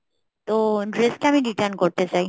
তো dress টা আমি return করতে চাই